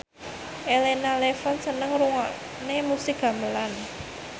Elena Levon seneng ngrungokne musik gamelan